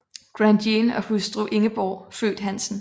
Grandjean og hustru Ingeborg født Hansen